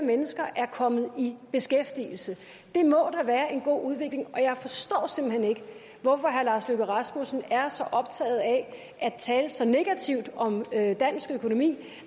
er kommet i beskæftigelse det må da være en god udvikling og jeg forstår simpelt hen ikke hvorfor herre lars løkke rasmussen er så optaget af at tale så negativt om dansk økonomi